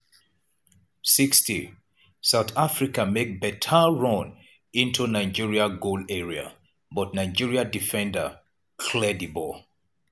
60'south africa make beta run into nigeri goal area but nigeria defender clear di ball.